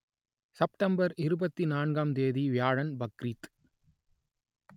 September இருபத்தி நான்காம் தேதி வியாழன் பக்ரீத்